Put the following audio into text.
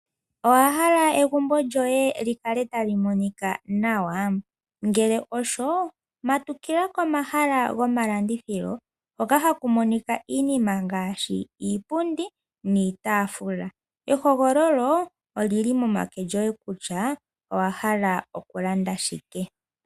Owahala egumbo lyoye likale tali monika nawa? ngele osho, matukila komahala gomalandithilo hoka haku monika iinima ngashi iipundi niitafula. Ehogololo olili momake goye kutya owa hala oku lannda shike.